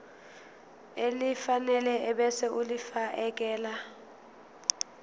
elifanele ebese ulifiakela